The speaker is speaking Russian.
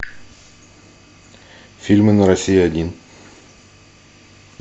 фильмы на россия один